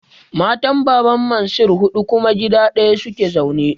Matan Baban Mansir huɗu kuma gida ɗaya su ke zaune.